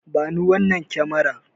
Bani wannan kyamarar.